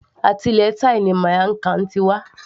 Àti ilẹ̀ thai ni miamg Khan ti wá